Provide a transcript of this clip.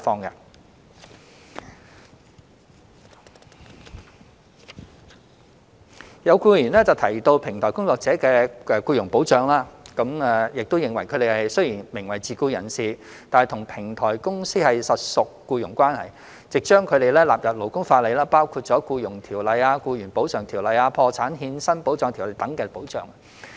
有議員提及平台工作者的僱傭保障，並認為他們雖然名為自僱人士，但與平台公司實屬僱傭關係，應將他們納入勞工法例，包括《僱傭條例》、《僱員補償條例》、《破產欠薪保障條例》等的保障。